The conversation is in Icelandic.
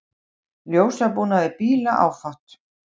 Ljósabúnaði bíla áfátt